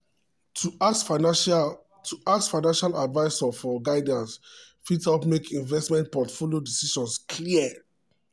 to ask financial to ask financial advisor for guidance fit help make investment portfolio decisions clear.